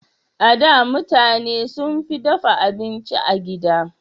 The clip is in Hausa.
A da, mutane sunfi dafa abinci a gida.